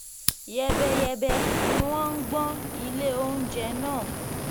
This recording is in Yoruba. yẹ́bẹ́yẹ́bẹ́ ni wọ́n gbọ́n ilé oúnjẹ náà